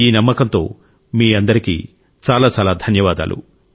ఈ నమ్మకంతో మీ అందరికీ చాలా చాలా ధన్యవాదాలు